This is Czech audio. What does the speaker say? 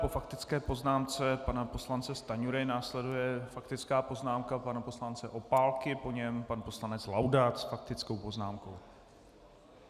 Po faktické poznámce pana poslance Stanjury následuje faktická poznámka pana poslance Opálky, po něm pan poslanec Laudát s faktickou poznámkou.